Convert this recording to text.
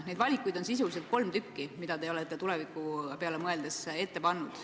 Neid valikuid on sisuliselt kolm, mida te olete tuleviku peale mõeldes ette pannud.